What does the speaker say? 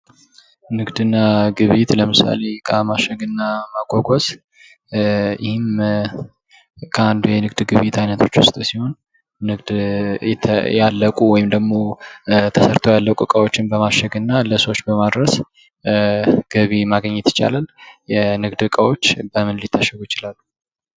ንግድና ግብይት ለምሳሌ እቃ ማሸግናስ ዕቃ አንዱ የንግድ ግብይት አይነቶች ውስጥ ሲሆን ንግድ ያለቁ ወይም ደግሞ ተሰርተው ያለቁ ዕቃዎችን በማሸግና ለሰዎች በማድረስ ገቢ ማግኘት ይቻላል። የንግድ እቃዎች በምን ሊታሸጉ ይችላሉ?